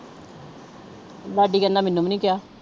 ਲਾਡੀ ਕਹਿੰਦਾ ਮੈਨੂੰ ਵੀ ਨੀ ਕਿਹਾ।